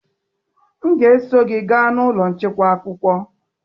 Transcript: M ga-eso gị gaa n'ụlọ nchekwa akwụkwọ.